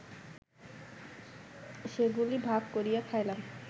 সেগুলি ভাগ করিয়া খাইলাম